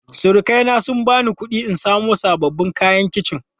Surukai na sun bani kuɗi in samo sababbin kayan kici.